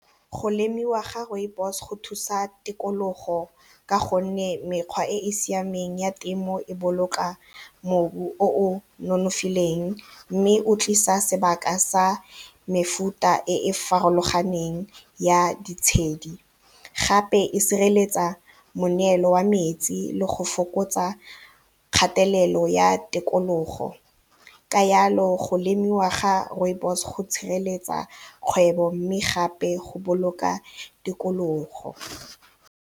Go lemiwa ga rooibos go thusa tikologo ka gonne mekgwa e e siameng ya temo e boloka mobu o o nonofileng mme o tlisa sebaka sa mefuta e e farologaneng ya ditshedi, gape e sireletsa moneelo wa metsi le go fokotsa kgatelelo ya tikologo ka yalo go lemiwa ga rooibos go tshireletsa kgwebo mme gape go boloka tikologo.